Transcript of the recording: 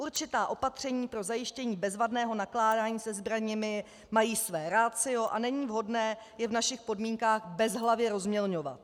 Určitá opatření pro zajištění bezvadného nakládání se zbraněmi mají své ratio a není vhodné je v našich podmínkách bezhlavě rozmělňovat.